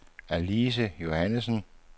Alice Johannessen